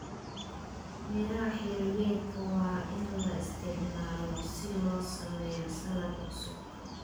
Miraha xilliyeedka waa in la isticmaalo si loo sameeyo saladh cusub.